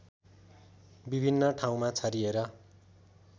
विभिन्न ठाउँमा छरिएर